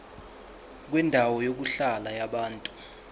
kwendawo yokuhlala yabantu